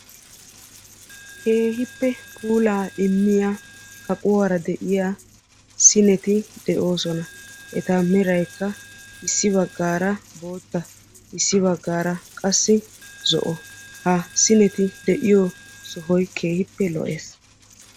Keehippe puulaa immiya kaquwara diya sineti de'oosona. Eta meraykka issi baggaara bootta issi baggaara qassi zo'o. Ha sineti de'iyo sohoy keehippe lo"ees.